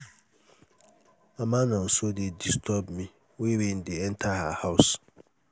mama nonso dey disturb me wey rain dey enter her house